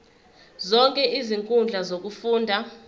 zonke izinkundla zokufunda